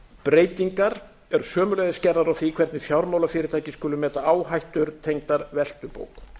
breytingar eru sömuleiðis gerðar á því hvernig fjármálafyrirtæki skuli meta áhættur tengdar veltubók